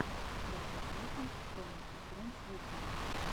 батл токинг тома и фрэндс ютюб